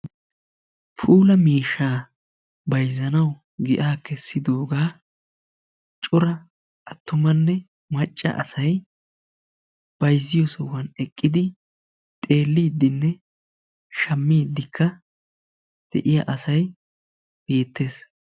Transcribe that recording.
Puula miishsha bayzzanawu giya kessidooga cora attumanne macca asay bayzziyo sohuwa eqqidi xeelidinne shammidikka de'iyaa asay beettees.